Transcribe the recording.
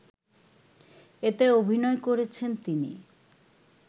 এতে অভিনয় করেছেন তিনি